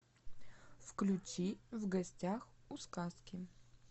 включи в гостях у сказки